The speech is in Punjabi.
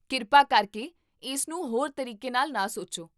ਕਿਰਪਾ ਕਰਕੇ ਇਸ ਨੂੰ ਹੋਰ ਤਰੀਕੇ ਨਾਲ ਨਾ ਸੋਚੋ